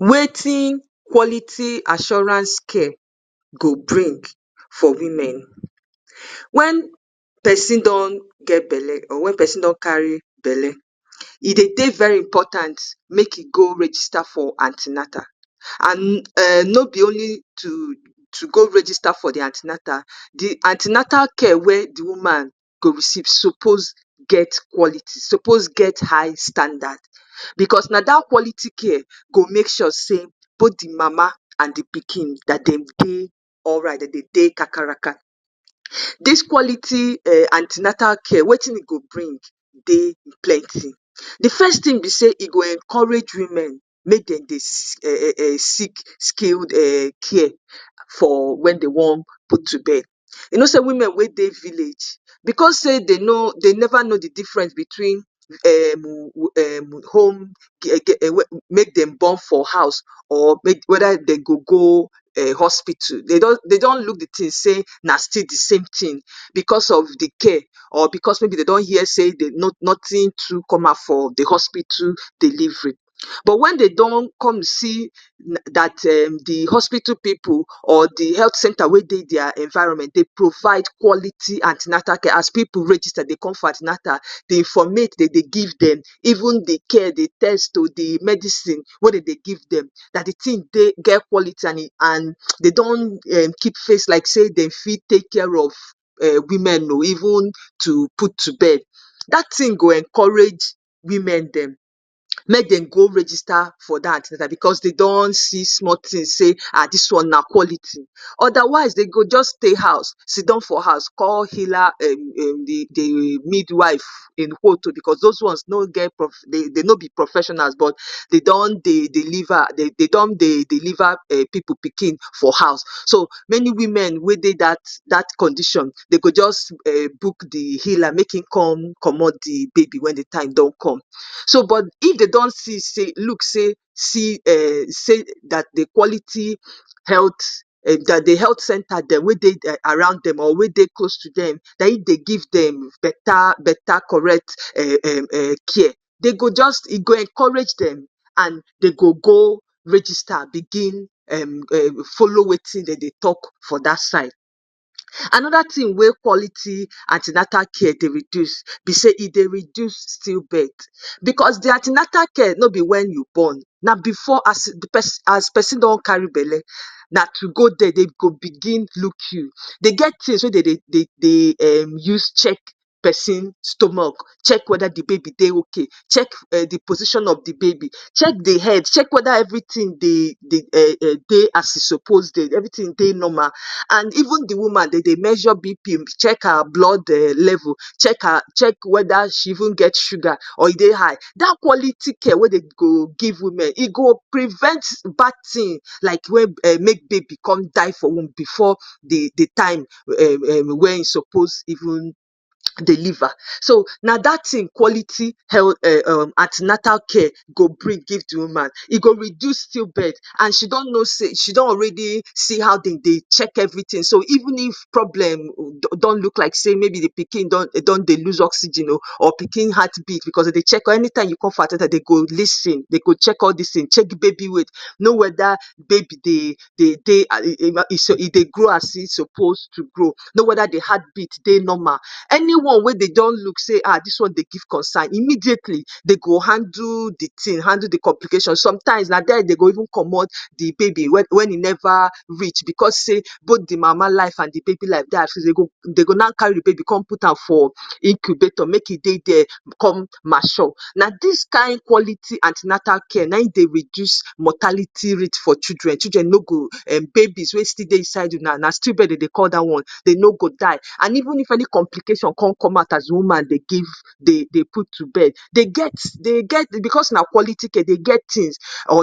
‎"wetin quality assurance scare go bring for women wen pesin don get belle or when persin don carryi belle e dey dey very important make e go register for antinata an no be only to to go register for di antinata di antinata care wey di woman go receve suppose get qualities suppose get high standar becos na dat qualiti care go make sure say both de mama and de oikin Dem go dey alright go dey kakaraka dis quality national care wetin e go bring dey plenty, de first tin be say e go encourage women make Dem dey seek um skilled care for wen Dem wan put to bed, u no say women we dey village bcos Dem no Dem never no de difference between um um home make Dem born for house or weda Dem go go hospitu dey don look de tin say na still dsame tin or maybe dey don hear say nothing true come out of de hospitu but wen dey don come see dat um de hospitu pipu or de health center wen dey their environment dey provide quality antinatal care, as pipu register dey come for antinatal de informat dey give Dem even de care de n medicine we Dem dey give Dem de tin get quality and Dem don keep face like say Dem go fit take care of um women even to put to bed dat tin go encourage women Dem make Dem go register for dat antinatal bcos dey don see small tin say ah dis one na quality odawise dey go jus stay house siddon for house call healer um um de midwife in quote o bcos does one no be professional but dey don dey deliver dey don dey deliver pipu pikin for house so many women wen dey dat condition dey go jus book de healer to come comot de baby wen time don come but if dey don see say look say say dat de quality health dat de health center wen dey around dem or wen dey close to Dem naim dey give dem beta beta correct care, Dem go jus e go encourage Dem and dey go go register bigin um folo ‎Wetin dem dey talk for dat side, Anoda tin we quality antinatal care dey reduse be say e dey reduse still birth becos de antinatal care no be after u born na before u born as pesin don carry belle ba to go there dey go look you dey get tins we Dem dey um um use check pesin stomach check weda de baby dey ok, check de position of de baby check de head check weda everytin dey as e um suppose dey weda everytin dey normal and even de woman Dem dey mesure bp check her blood level check weda she even gets sugar or e dey high dat quality care we Dem go go e woman e go prevent bad tin like wen um make baby come die for wumb before de time wen e suppose even deliver so na dat tin quality health um antinatal care go bring give de woman e go reduse stillbirth and she don no say she don already see how Dem dey check everytin so even if problem don look like say pikin don dey loose oxygen o or pikin don dey loose heart beat becos Dem dey check am anytime u come for antinatal Dem dey check am lis ten anytime u come for antinatal Dem go check baby weight to no weda baby dey baby dey um e dey grow as in suppose to grow, know weda de heart beat dey normal, anyone we Dem don look say ah dis one dey give concern immediately dey go handle de tin handle de complication sometimes na there Dem go even comot de baby wen de time never reach bcos both de mama life and de baby life de at risk, Dem go now carry de baby put for incubator there come mature, na dis kin quality antinatal care naim dey reduse mortality rate for children children no go babies no go die inside belle na stillbirth Dem dey call dat one dey no go die and even if any complication con come out as de wom dey give Dem put to bed dey get dey get tins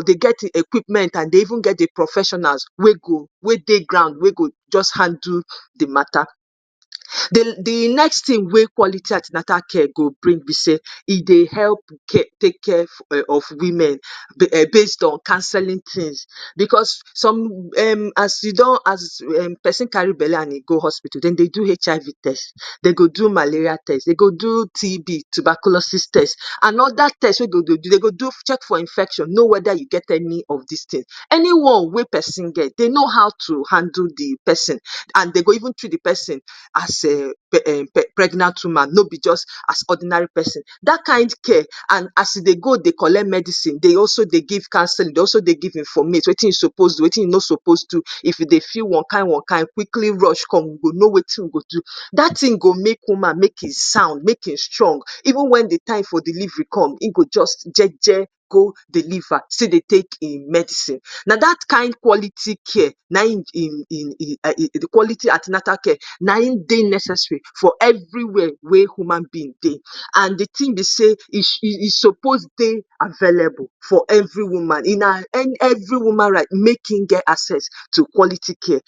dey get de equipments dey even get professionals we go we dey ground we go jus handle de matter. de next tin we quality antinal care dey being be say e dey help take care of women based on counselling tins because some um as e don as um pesin carry belle and e go hospitu Dem dey do hiv test, Dem go do malaria test Dem go do tb tubacolosis test Dem go check for infection no weda u get any of distin any one wey pesin get Dem go no how to handle de person even treat de pesin as um pregnant woman no be jus as ordinary person dat kind care and as e dey go dey collect medicine dey de also dey give counselling dey also dey give informat wetin u suppose so wetin u no suppose do, if u dey feel onkin onekin quickly rich come we go no wetin we suppose do dat tin go make woman make e sound make e strong even wen de time for delivery come in go jus jeje go deliver still dey take in medicine, na dat kin quality care naim um um um de quality antinatal care naim dey nessessary for eveywere ey human being dey and de tin be say e e suppose dey available for every woman na every woman right make in get access to quality care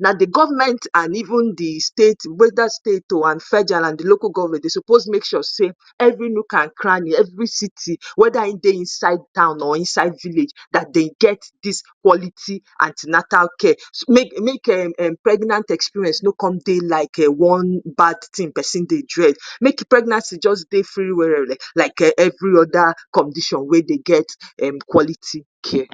na de government and even de state weda state o and federal and de local government dey suppose make sure say every nook and cranny every city weda in dey inside town or inside village dey get this quantity antinal care make um um pregnant experience no come dey like one bad tin person dey dread make pregnancy jus dey freewereee like every oda condition we dey get um quality care"